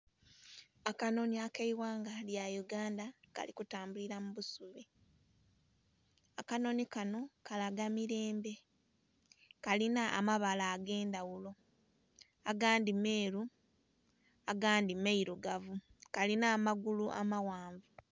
Akanonhi akeghanga lya uganda kalitambulira kubusubi, akanonhi kano kalaga mirembe kalinha amabala agendhaghulo agandhi meeru, agandhi mairugavu, kalinha amagulu amaghanvu.